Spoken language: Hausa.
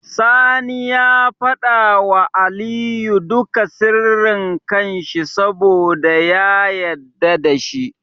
Sani ya fada wa Aliyu duka sirri kan shi saboda ya yadda dashi